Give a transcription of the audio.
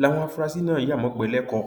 láwọn afurasí náà ya mọgbẹẹ lẹkọọ